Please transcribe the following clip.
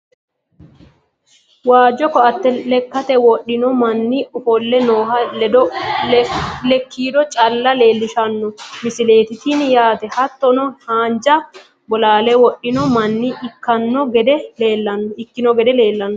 waajjo koatte lekkate wodhino manni ofolle nooha lekkiido calla leelishshanno misileeti tini yaate hattono haanja bolaale wodhino manna ikkino gede leelanno.